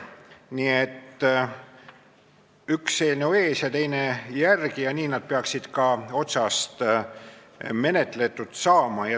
Nii et üks eelnõu ees ja teine järel ja nii nad peaksid ka menetletud saama.